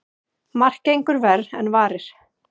Margt gengur verr en varir.